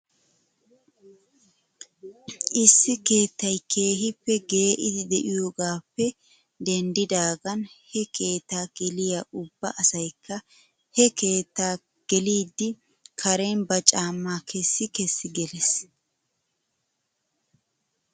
Issi keettay keehippe gee'idi de'iyoogaappe denddidaagan he keetta geliyaa ubba asaykka he keettaa keliiddi karen ba caamaa kessj kessi geles.